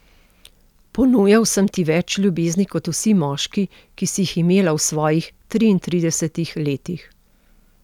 Ponujal sem ti več ljubezni kot vsi moški, ki si jih imela v svojih triintridesetih letih.